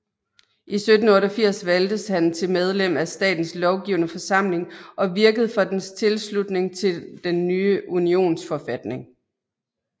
I 1788 valgtes han til medlem af statens lovgivende forsamling og virkede for dens tilslutning til den nye unionsforfatning